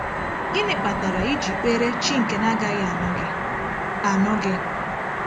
Gịnị kpatara iji kpere chi nke na-agaghị anụ gị? anụ gị?